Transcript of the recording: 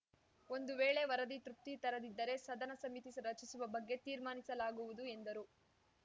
ಒಂದು ವೇಳೆ ವರದಿ ತೃಪ್ತಿ ತರದಿದ್ದರೆ ಸದನ ಸಮಿತಿ ರಚಿಸುವ ಬಗ್ಗೆ ತೀರ್ಮಾನಿಸಲಾಗುವುದು ಎಂದರು